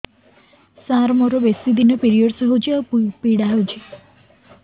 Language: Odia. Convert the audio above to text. ସାର ମୋର ବେଶୀ ଦିନ ପିରୀଅଡ଼ସ ହଉଚି ଆଉ ପୀଡା ହଉଚି